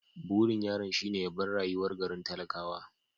Burin yaron shine ya bar rayuwar garin talakawa.